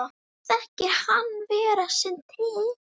Þykir hann vera seinn til.